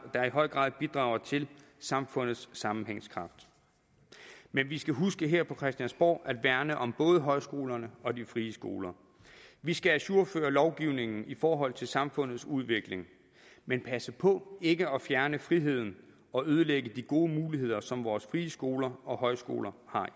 der i høj grad bidrager til samfundets sammenhængskraft men vi skal huske her på christiansborg at værne om både højskolerne og de frie skoler vi skal ajourføre lovgivningen i forhold til samfundets udvikling men passe på ikke at fjerne friheden og ødelægge de gode muligheder som vores frie skoler og højskoler har